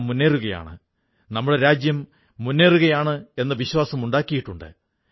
നമ്മുടെ മനസ്സിനെയും ശരീരസന്തുലനത്തെയും ഒരൂ പുതിയ തലത്തിലേക്കുയർത്തുന്നു